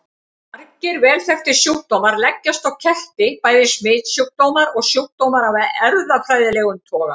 Margir vel þekktir sjúkdómar leggjast á ketti, bæði smitsjúkdómar og sjúkdómar af erfðafræðilegum toga.